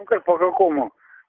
ну как по какому